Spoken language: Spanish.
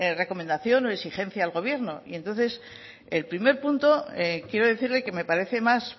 recomendación o exigencia al gobierno y entonces el primer punto quiero decirle que me parece más